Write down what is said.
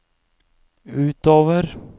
utover